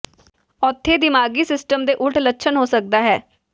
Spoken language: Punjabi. ਉੱਥੇ ਦਿਮਾਗੀ ਸਿਸਟਮ ਦੇ ਉਲਟ ਲੱਛਣ ਹੋ ਸਕਦਾ ਹੈ